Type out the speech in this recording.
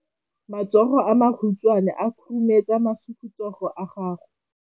Matsogo a makhutshwane a khurumetsa masufutsogo a gago.